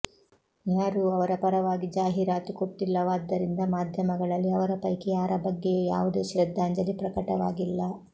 ಯಾರೂ ಅವರ ಪರವಾಗಿ ಜಾಹೀರಾತು ಕೊಟ್ಟಿಲ್ಲವಾದ್ದರಿಂದ ಮಾಧ್ಯಮಗಳಲ್ಲಿ ಅವರ ಪೈಕಿ ಯಾರ ಬಗ್ಗೆಯೂ ಯಾವುದೇ ಶ್ರದ್ಧಾಂಜಲಿ ಪ್ರಕಟವಾಗಿಲ್ಲ